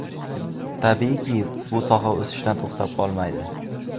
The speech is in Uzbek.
Tabiiyki, bu soha o‘sishdan to‘xtab qolmaydi.